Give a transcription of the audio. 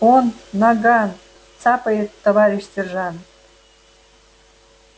он наган цапает товарищ сержант